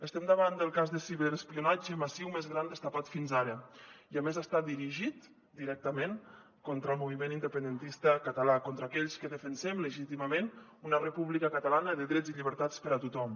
estem davant del cas de ciberespionatge massiu més gran destapat fins ara i a més està dirigit directament contra el moviment independentista català contra aquells que defensem legítimament una república catalana de drets i llibertats per a tothom